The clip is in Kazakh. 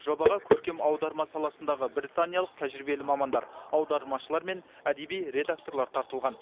жобаға көркем аударма саласындағы британиялық тәжірибелі мамандар аудармашылар мен әдеби редакторлар тартылған